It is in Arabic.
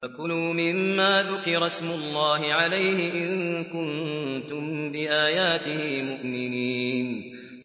فَكُلُوا مِمَّا ذُكِرَ اسْمُ اللَّهِ عَلَيْهِ إِن كُنتُم بِآيَاتِهِ مُؤْمِنِينَ